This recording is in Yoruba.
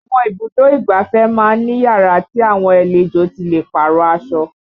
Àwọn ibùdó ìgbáfẹ́ máa ń ní yàrá tí àwọn àlejò ti lè párọ̀ aṣọ